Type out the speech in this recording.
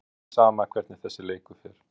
Hverjum er ekki sama hvernig þessi leikur fer?